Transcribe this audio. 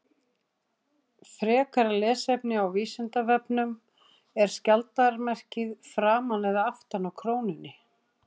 Þetta er þó háð fyrirkomulagi símans og nálægð hans við líkamann.